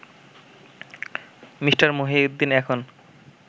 Me. Mohiuddin এখন